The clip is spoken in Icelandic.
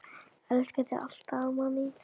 Elska þig alltaf, amma mín.